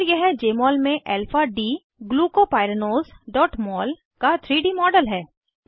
और यह जमोल में alpha d glucopyranoseमोल का 3डी मॉडल है